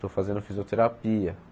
Estou fazendo fisioterapia.